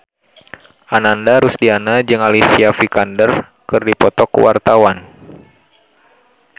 Ananda Rusdiana jeung Alicia Vikander keur dipoto ku wartawan